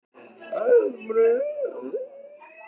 Hvað ertu búinn að gera á milli æfinga?